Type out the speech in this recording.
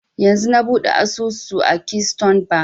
Yanzun na buɗe asusu a keystone bank